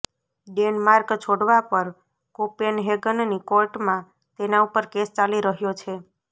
Denmark છોડવા પર કોપેનહેગનની કોર્ટમાં તેના ઉપર કેસ ચાલી રહ્યો છે